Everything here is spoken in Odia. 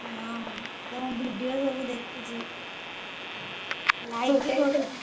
ହଁ ତମ video ସବୁ ଦେଖୁଛି like